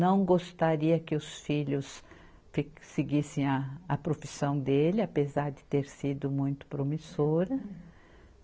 Não gostaria que os filhos fi, seguissem a profissão dele, apesar de ter sido muito promissora.